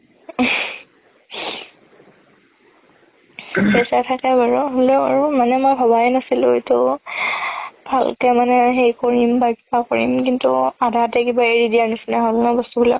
পইচা থাকে বাৰু হ'লেও আৰু মানে মই ভাবাই নাছিলো এইটো ভালকে মানে সেই পঢ়িম বা কিবা কৰিম কিন্তু আধা আধিতে কিবা এৰি দিয়াৰ নিচিনা হ'ল ন বস্তু বিলাক